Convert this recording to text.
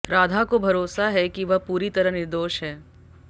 राधा को भरोसा है की वह पूरी तरह निर्दोष है